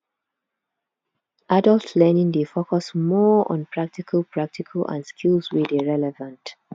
adult learning dey focus more on practical practical and skills wey dey r eleven t